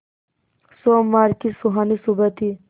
सोमवार की सुहानी सुबह थी